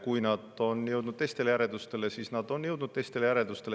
Kui nad on jõudnud teistele järeldustele, siis nad on jõudnud teistele järeldustele.